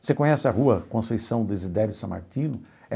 Você conhece a rua Conceição Sammartino?